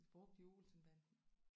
Det er brugt i Olsenbanden